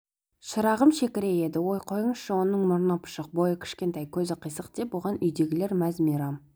шырағым шекірейеді ой қойыңызшы оның мұрны пұшық бойы кішкентай көзі қысық деп оған үйдегілер мәз-мейрам